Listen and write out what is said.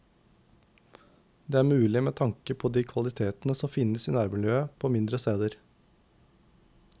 Det er mulig med tanke på de kvalitetene som finnes i nærmiljøet på mindre steder.